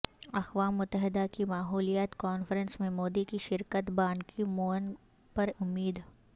اقوام متحدہ کی ماحولیات کانفرنس میں مودی کی شرکت بانکی مون پرامید